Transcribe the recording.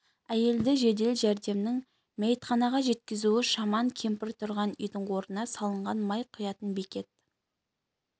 әйелді жедел жәрдемнің мәйітханаға жеткізуі шаман кемпір тұрған үйдің орнына салынған май құятын бекет